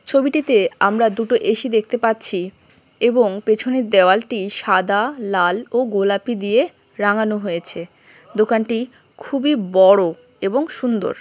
ছবিটিতে আমরা দুটো এ.সি. দেখতে পাচ্ছি এবং পেছনের দেওয়ালটি সাদা লাল ও গোলাপী দিয়ে রাঙানো হয়েছে দোকানটি খুবই বড় এবং সুন্দর।